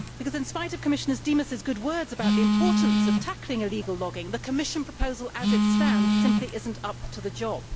In spite of Commissioner Dimas' good words about the importance of tackling illegal logging, the Commission proposal as it stands simply is not up to the job.